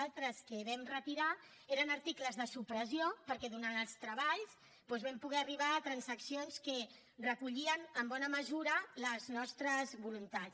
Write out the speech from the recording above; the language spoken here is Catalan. altres que vam retirar eren articles de supressió perquè durant els treballs doncs vam poder arribar a transaccions que recollien en bona mesura les nostres voluntats